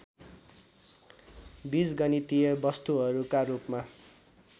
बिजगणितीय वस्तुहरूका रूपमा